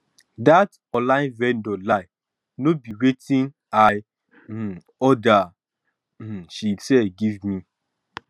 that online vendor lie no be wetin i um order um she sell give me